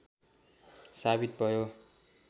साबित भयो